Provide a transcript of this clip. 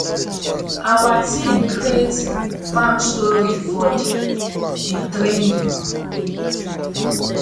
awa team create farm story for di di training